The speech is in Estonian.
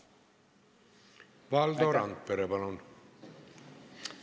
Valdo Randpere, palun!